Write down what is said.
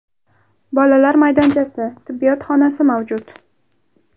Bolalar maydonchasi, tibbiyot xonasi mavjud.